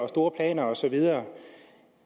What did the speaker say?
store planer og så videre